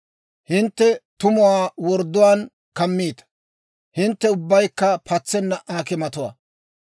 Hintte tumuwaa wordduwaan kammiita; hintte ubbaykka patsenna aakimatuwaa.